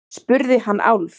spurði hann Álf.